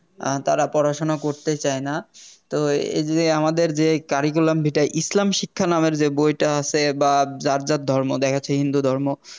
তারা পড়াশুনা করতেই চায়না তো এ~ এইযে আমাদের যে Cariculam Vita ইসলাম শিক্ষা নামের যে বইটা আছে বা যার যার ধর্ম দেখে সে হিন্দু ধর্ম